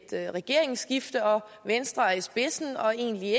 regeringsskifte og om venstre er i spidsen og egentlig